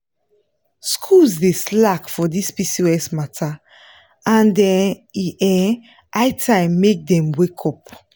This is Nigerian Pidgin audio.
schools dey slack for this pcos matter and um e um high time make dem wake up.